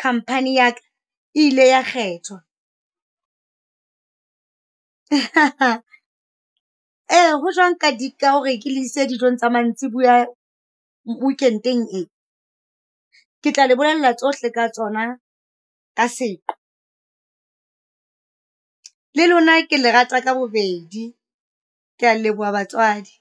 khamphani yaka, e ile ya kgethwa. Ee ho jwang ka di ka hore ke le ise dijong tsa mantsibuya weekend-eng e? Ke tla le bolella tsohle ka tsona ka seqo. Le lona ke lerata ka bobedi, ke a leboha batswadi.